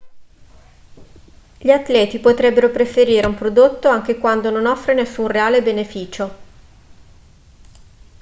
gli atleti potrebbero preferire un prodotto anche quando non offre nessun reale beneficio